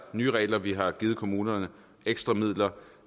nye regler vi har givet kommunerne ekstra midler